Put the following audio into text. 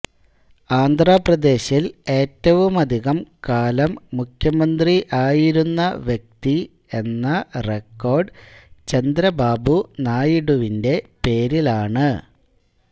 ആന്ധ്രപ്രദേശിൽ ഏറ്റവുമധികം കാലം മുഖ്യമന്ത്രി ആയിരുന്ന വ്യക്തി എന്ന റെക്കോർഡ് ചന്ദ്രബാബു നായിഡുവിന്റെ പേരിലാണ്